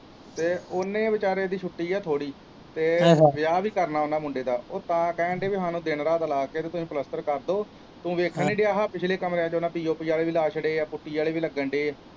ਤੇ ਉਹਨੇ ਵਿਚਾਰੇ ਦੀ ਛੁੱਟੀ ਹੈ ਥੋੜੀ ਤੇ ਵਿਆਹ ਵੀ ਕਰਨਾ ਉਹਨਾਂ ਮੁੰਡੇ ਦਾ ਉਹ ਤਾਂ ਕਹਿਣ ਦੇ ਹੀ ਹਣ ਦਿਨ ਰਾਤ ਲਾ ਕੇ ਤੇ ਤੁਸੀਂ ਪਲੱਸਤਰ ਕਰ ਦੋ ਤੂੰ ਵੇਖਣ ਨਹੀਂ ਦਿਆ ਆਹ ਪਿਛਲੇ ਕਮਰਿਆਂ ਚ ਉਹਨਾ ਪੀ ਓ ਪੀ ਆਲੇ ਵੀ ਛੱਡੇ ਪੁੱਟਟੀ ਆਲੇ ਵੀ ਲੱਗਣ ਦੇ ਹੈ।